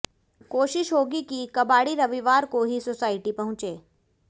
कोशिश होगी कि कबाड़ी रविवार को ही सोसायटी पहुंचे